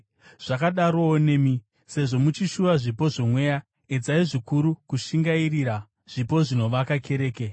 Zvakadarowo nemi. Sezvo muchishuva zvipo zvoMweya, edzai zvikuru kushingairira zvipo zvinovaka kereke.